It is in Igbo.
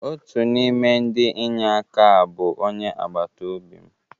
Otu n'ime ndị inye aka a bụ onye agbata obi m.